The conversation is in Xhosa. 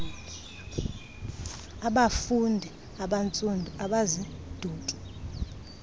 abafuundi abantsundu abazidubi